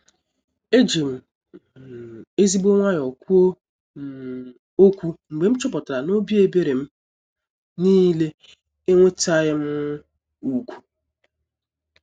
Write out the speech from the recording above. Ejim um ezigbo nwayọ kwuo um okwu mgbe m chọpụtara n'obi ebere m niile enwetaghị um ugwu.